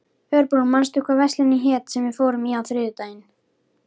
Örbrún, manstu hvað verslunin hét sem við fórum í á þriðjudaginn?